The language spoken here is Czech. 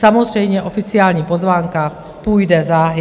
Samozřejmě oficiální pozvánka půjde záhy.